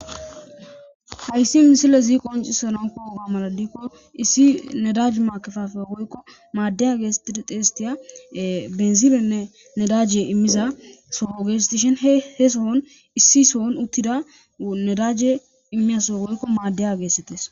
Hayssi misilezi qonccissana koyo mala gidikko issi nedaj maakkefaafeya woykko maaddeyaa geetheththidi xeesetththiya binzilenne nedaaje immiza soho geetheththishin he sohon issi sohon uththida nedaaje immiya soho woykko maaddeyaa geetheththees.